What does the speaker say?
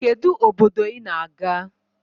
Kedu obdodo i na-aga?